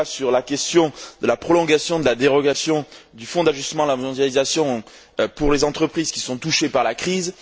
Un débat porte sur la question de la prolongation de la dérogation du Fonds d'ajustement à la mondialisation pour les entreprises qui sont touchées par la crise.